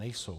Nejsou.